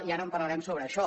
i ara parlarem sobre això